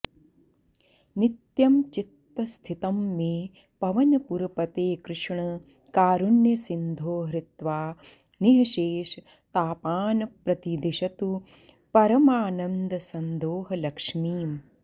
नित्यं चित्तस्थितं मे पवनपुरपते कृष्ण कारुण्यसिन्धो हृत्वा निःशेषतापान्प्रदिशतु परमानन्दसन्दोहलक्ष्मीम्